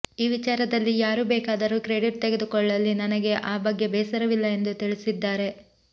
ಈ ವಿಚಾರದಲ್ಲಿ ಯಾರು ಬೇಕಾದರೂ ಕ್ರೆಡಿಟ್ ತೆಗೆದುಕೊಳ್ಳಲಿ ನನಗೆ ಆ ಬಗ್ಗೆ ಬೇಸರವಿಲ್ಲ ಎಂದು ತಿಳಿಸಿದ್ದಾರೆ